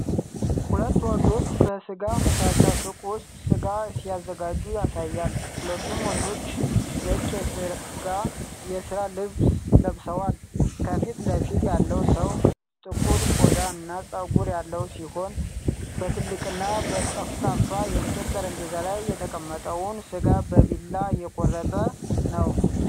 ሁለት ወንዶች በሥጋ መሸጫ ሱቅ ውስጥ ሥጋ ሲያዘጋጁ ያሳያል። ሁለቱም ወንዶች ነጭ የሥራ ልብስ ለብሰዋል። ከፊት ለፊት ያለው ሰው ጥቁር ቆዳ እና ጸጉር ያለው ሲሆን፣ በትልቅና ጠፍጣፋ የእንጨት ጠረጴዛ ላይ የተቀመጠውን ሥጋ በቢላ እየቆረጠ ነው።